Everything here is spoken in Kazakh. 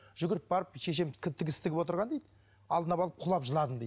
жүгіріп барып шешем тігіс тігіп отырған дейді алдына барып құлап жыладым дейді